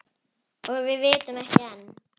Og vitum ekki enn.